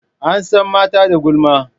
An san mata da gulma.